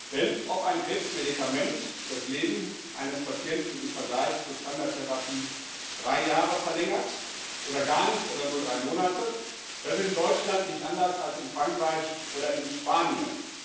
Denn ob ein Krebsmedikament das Leben eines Patienten im Vergleich zur Standardtherapie um drei Jahre verlängert oder gar nicht oder nur drei Monate, das ist in Deutschland nicht anders als in Frankreich oder in Spanien.